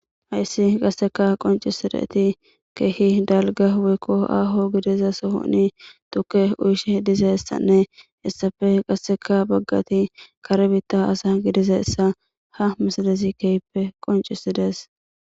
Hayssi qasseka qoncisideti keehi dalga weykko aaho gidiza sohoni tuke uyishe diza essanne essafe qasseka baggati karbitta asa gidiza essa ha misalezi keyppe qoncisidees.